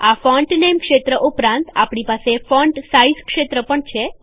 આ font name ક્ષેત્ર ઉપરાંત આપણી પાસે ફોન્ટ સાઈઝ ક્ષેત્ર હોય છે